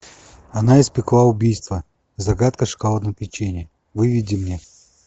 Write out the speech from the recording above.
она испекла убийство загадка шоколадного печенья выведи мне